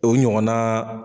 O ɲɔgɔn naaa